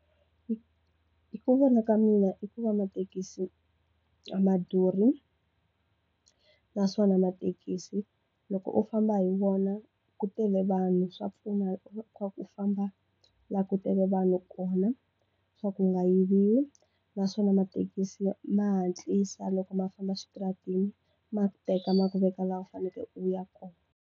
Hi ku vona ka mina i ku va mathekisi a ma durhi naswona mathekisi loko u famba hi wona ku tele vanhu swa pfuna ku famba u langutele vanhu kona swa ku nga yiviwi naswona mathekisi ma hatlisa loko ma famba xitaratini ma ku teka ma ku veka laha u fanele u ya kona.